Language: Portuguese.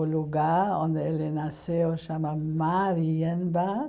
O lugar onde ele nasceu chama.